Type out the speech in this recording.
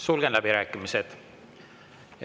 Sulgen läbirääkimised.